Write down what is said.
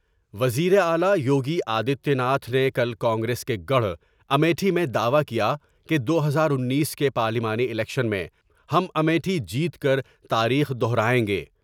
وزیر اعلی یوگی آدتیہ ناتھ نے کل کانگریس کے گڑھ امیٹھی میں دعوی کیا کہ دو ہزار انیس کے پارلیمانی الیکشن میں ہم امیٹھی جیت کر تاریخ دوہرائیں گے ۔